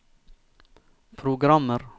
programmer